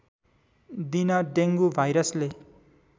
दिन डेङ्गु भाइरसले